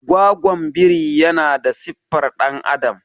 gwagwon biri yana da siffar dan'adam